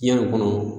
Yanni kɔnɔ